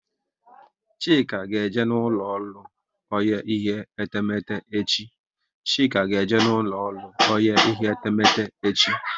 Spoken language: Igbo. Chika ga eje n'ulo ọrụ onye ihe etemete echi